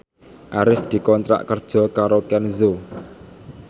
Arif dikontrak kerja karo Kenzo